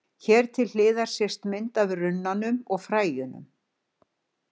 Hér til hliðar sést mynd af runnanum og fræjunum.